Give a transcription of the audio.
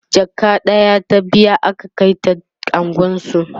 jaka ɗaya ta biya aka Kai ta unguwansu